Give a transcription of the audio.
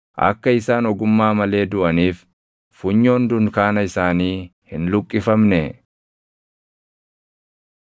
Akka isaan ogummaa malee duʼaniif funyoon dunkaana isaanii hin luqqifamnee?’